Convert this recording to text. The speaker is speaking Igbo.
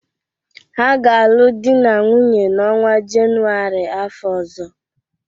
Ha ga-alụ di na nwunye n'ọnwa Jenuwarị afọ ọzọ.